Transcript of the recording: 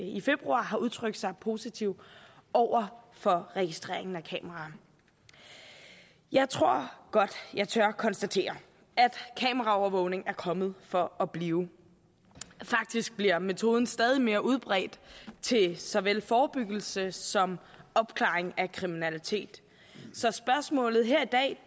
i februar har udtrykt sig positivt over for registreringen af kameraer jeg tror godt at jeg tør konstatere at kameraovervågning er kommet for at blive faktisk bliver metoden stadig mere udbredt til såvel forebyggelse som opklaring af kriminalitet så spørgsmålet her i dag